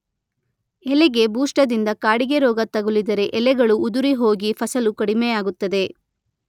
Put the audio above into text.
ಎಲೆಗೆ ಬೂಷ್ಟದಿಂದ ಕಾಡಿಗೆರೋಗ ತಗುಲಿದರೆ ಎಲೆಗಳು ಉದುರಿಹೋಗಿ ಫಸಲು ಕಡಿಮೆಯಾಗುತ್ತದೆ.